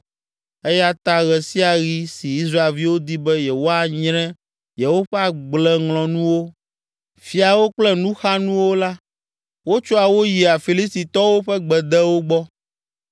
Eya ta ɣe sia ɣi si Israelviwo di be yewoanyre yewoƒe agbleŋlɔnuwo, fiawo kple nuxanuwo la, wotsɔa wo yia Filistitɔwo ƒe gbedewo gbɔ.